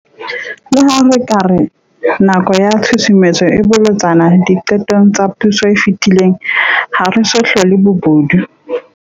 Leha re ka re nako ya tshusumetso e bolotsana diqetong tsa puso e fetile, ha re so hlole bobodu.